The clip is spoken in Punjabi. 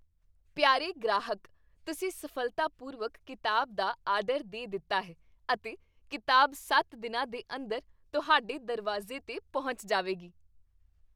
ਪਿਆਰੇ ਗ੍ਰਾਹਕ! ਤੁਸੀਂ ਸਫ਼ਲਤਾਪੂਰਵਕ ਕਿਤਾਬ ਦਾ ਆਰਡਰ ਦੇ ਦਿੱਤਾ ਹੈ ਅਤੇ ਕਿਤਾਬ ਸੱਤ ਦਿਨਾਂ ਦੇ ਅੰਦਰ ਤੁਹਾਡੇ ਦਰਵਾਜ਼ੇ 'ਤੇ ਪਹੁੰਚ ਜਾਵੇਗੀ।